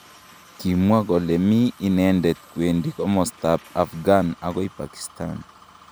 Kimwa kole mi inendet kwendi kimosta ab Afghan akoi Pakistan.